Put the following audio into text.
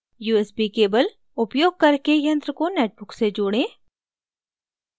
usb cable उपयोग करके यंत्र को netbook से जोडें